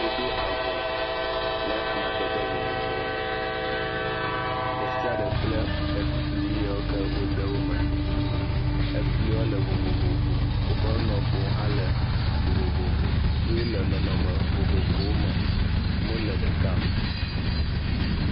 Woɖo avɔ le amadede vovovowo me ɖe sia ɖe kple efli ye ke wode wo me, efli wo le vovovo woƒe nɔƒewo hã le vovovo ye wole nɔnɔme vovovowo me mele ɖeka o.